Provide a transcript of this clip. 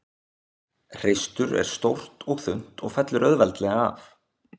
Hreistur er stórt og þunnt og fellur auðveldlega af.